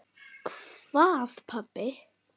Hvað pabbi?